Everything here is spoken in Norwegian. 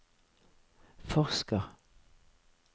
forsker